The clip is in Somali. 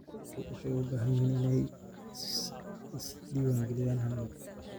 Muwaadiniintu waxay u baahan yihiin inay is-diiwaangeliyaan hal mar.